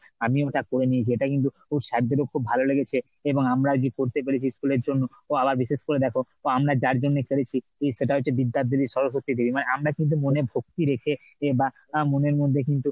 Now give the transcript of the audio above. আমি ওটা করে দিয়েছি এটা কিন্তু sir দের ও খুব ভালো লেগেছে এবং আমরা যে করতে পেরেছি school এর জন্য আবার বিশেষ করে দেখো আমরা যার জন্য করেছি সেটা হচ্ছে বিদ্যার দেবী সরস্বতী দেবী আমরা কিন্তু মনে ভক্তি রেখে বা মনের মধ্যে কিন্তু,